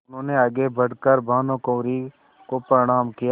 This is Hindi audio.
उन्होंने आगे बढ़ कर भानुकुँवरि को प्रणाम किया